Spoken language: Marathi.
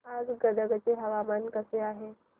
आज गदग चे हवामान कसे आहे